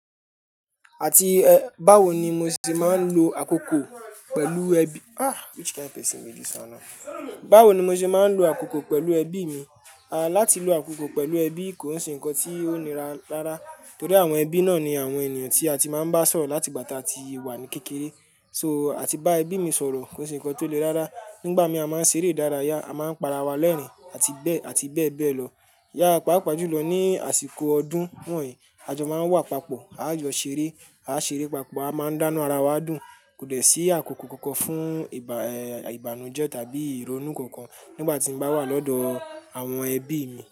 Àti, Báwo ni mo ṣe máa ń lo àkókò pẹ̀lú ẹbí? Which kind person be this and now? Báwo ni mo ṣe máa ń lo àkókò pẹ̀lú ẹbí mi? Láti lo àkókò pẹ̀lú ẹbí kò se nǹkan tí ó nira rárá torí àwọn ẹbí náà ni àwọn ènìyàn tí a ti máa ń bá sọ̀rọ̀ láti ìgbà tí a wà ní kékeré. So, àti bá ẹbí mi sọ̀rọ̀ kò se ǹnkan tó le dáadáa. Nígbà mí a máa ń ṣeré dáradára, a máa ń para wa lẹ́rìn-ín àti bẹ́ẹ̀, àti bẹ́ẹ̀ bẹ́ẹ̀ lọ. Yà pápa jùlọ ní àsìkò ọdún wọ̀nyíi, à jọ máa ń wà papọ̀, a jọ ṣeré, a ṣeré papọ̀, a máa ń dánu ara wa dùn, kò dẹ̀ sí àkókò kankan fún ìbànújẹ́ tàbí ìrònú kankan nígbà tí n bá wà lọ́dọ̀ àwọn ẹbí mi.